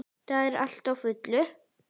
Það er allt á fullu.